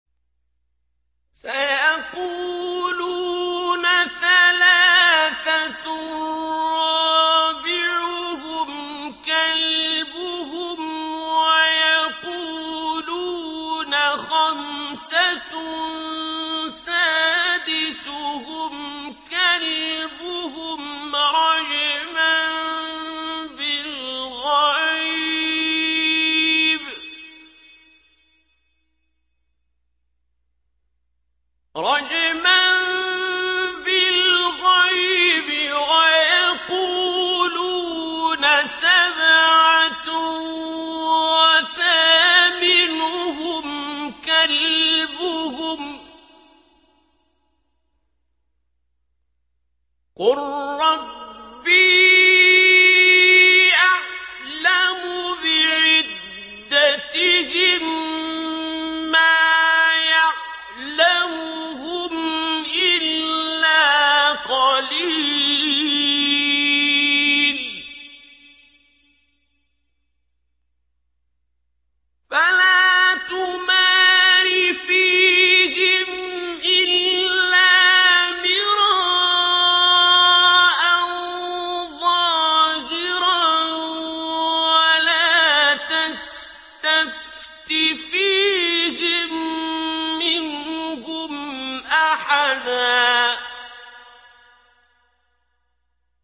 سَيَقُولُونَ ثَلَاثَةٌ رَّابِعُهُمْ كَلْبُهُمْ وَيَقُولُونَ خَمْسَةٌ سَادِسُهُمْ كَلْبُهُمْ رَجْمًا بِالْغَيْبِ ۖ وَيَقُولُونَ سَبْعَةٌ وَثَامِنُهُمْ كَلْبُهُمْ ۚ قُل رَّبِّي أَعْلَمُ بِعِدَّتِهِم مَّا يَعْلَمُهُمْ إِلَّا قَلِيلٌ ۗ فَلَا تُمَارِ فِيهِمْ إِلَّا مِرَاءً ظَاهِرًا وَلَا تَسْتَفْتِ فِيهِم مِّنْهُمْ أَحَدًا